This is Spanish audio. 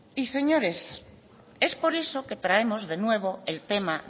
y señores es por eso que traemos de nuevo el tema